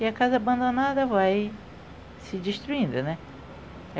e a casa abandonada vai se destruindo, né?